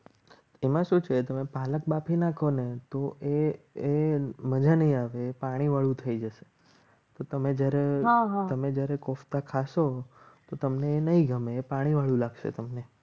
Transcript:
એમાં શું છે. તમે પાલક બાફી નાખો ને તો એ એ મજાની આવે પાણીવાળું થઈ જશે. તો તમે જ્યારે તમે જ્યારે કોફતા ખાશો તો તમને નહીં ગમે પાણીવાળું લાગશે તમને